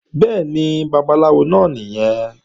Bẹ́ẹ̀ni, Babaláwo náà nìyẹn